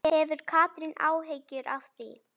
Hefur Katrín áhyggjur af því?